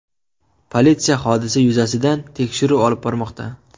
Politsiya hodisa yuzasidan tekshiruv olib bormoqda.